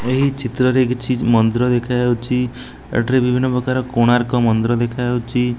ଏହି ଚିତ୍ରରେ କିଛି ମନ୍ଦିର ଦେଖାଯାଉଛି ଏଠାରେ ବିଭିନ୍ନ ପ୍ରକାର କୋଣାର୍କ ମନ୍ଦିର ଦେଖାଯାଉଛି।